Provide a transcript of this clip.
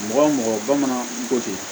Mɔgɔ mɔgɔ bamanan ko ten